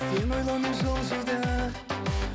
сені ойлаумен жылжиды